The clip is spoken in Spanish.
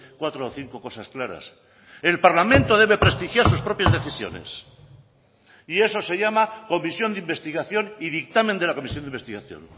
cuatro o cinco cosas claras el parlamento debe prestigiar sus propias decisiones y eso se llama omisión de investigación y dictamen de la comisión de investigación